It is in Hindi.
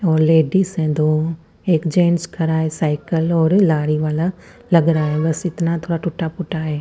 और लेडीज है दो एक जेन्स खरा है साईकल और लारी वाला लगरा है बस इतना थोडा टुटा फूटा है।